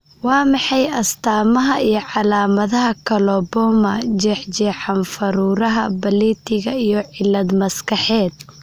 Waa maxay astamaha iyo calaamadaha Coloboma, jeexjeexan faruuryaha baaleetiga iyo cillad maskaxeed?